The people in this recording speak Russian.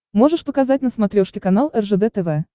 можешь показать на смотрешке канал ржд тв